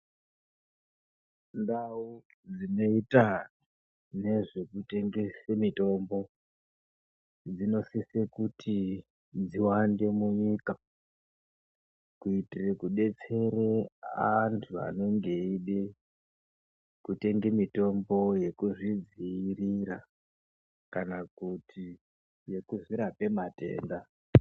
Ndau dzinoita nezve kutengesa muntombo dzinosisa kuti dziwande munyika kuitire kudetsere antu anenge eide kutenge mitombo yekuzvidziirira kana kuti yekuzvirape matenda.